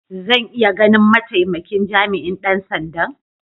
Zan iya ganin ma'taimakin jami'in dan sanda'n?